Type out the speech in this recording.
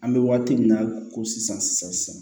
An bɛ waati min na ko sisan sisan